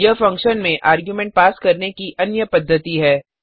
यह फंक्शन में argument pass करने की अन्य पद्धति है